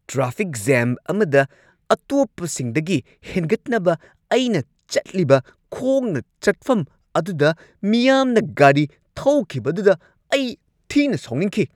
Traffic jam ꯑꯃꯗ ꯑꯇꯣꯞꯄꯁꯤꯡꯗꯒꯤ ꯍꯦꯟꯒꯠꯅꯕ, ꯑꯩꯅ ꯆꯠꯂꯤꯕ ꯈꯣꯡꯅ ꯆꯠꯐꯝ ꯑꯗꯨꯗ ꯃꯤꯌꯥꯝꯅ ꯒꯥꯔꯤ ꯊꯧꯈꯤꯕꯗꯨꯗ ꯑꯩ ꯊꯤꯅ ꯁꯥꯎꯅꯤꯡꯈꯤ꯫